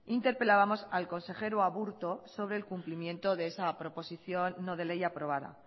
interpelábamos al consejero aburto sobre el cumplimiento de esa proposición no de ley aprobada